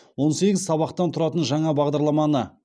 он сегіз сабақтан тұратын жаңа бағадарламаны